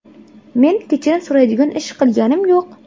Men kechirim so‘raydigan ish qilganim yo‘q.